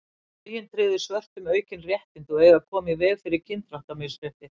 lögin tryggðu svörtum aukin réttindi og eiga að koma í veg fyrir kynþáttamisrétti